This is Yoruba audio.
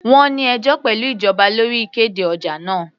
Wọ́n ní ẹjọ́ pẹ̀lú ìjọba lórí ìkéde ọjà wọn.